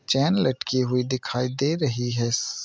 चैन लटकी हुई दिखाई दे रही है।